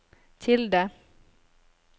tilde